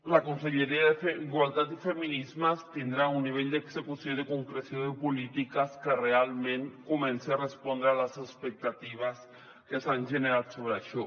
la conselleria d’igualtat i feminismes tindrà un nivell d’execució i concreció de polítiques que realment comenci a respondre a les expectatives que s’han generat sobre això